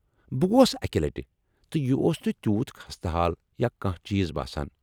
بہ گوٚس اکہِ لٹہِ ، تہٕ یہ اوس نہٕ تیوُت خستہ حال یا کانہہ چیز باسان ۔